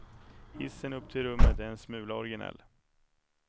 Hissen upp till rummet är en smula originell.